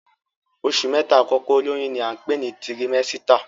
Oṣù mẹ́ta àkọ́kọ́ olóyún ní à ń pè ní tirimẹ́sítà